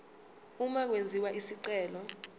uma kwenziwa isicelo